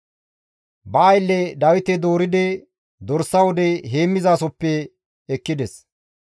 Ba aylle Dawite dooridi dorsa wude heemmizasohoppe ekkides.